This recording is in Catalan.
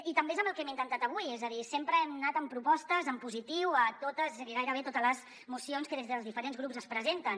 i també és el que hem intentat avui és a dir sempre hem anat amb propostes en positiu a totes i gairebé totes les mocions que des dels diferents grups es presenten